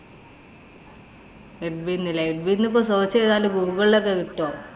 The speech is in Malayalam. edwin ഇല്ലേ. edwin എന്നിപ്പം search ചെയ്താലേ ഗൂഗിളിലോക്കെ കിട്ട്വോ?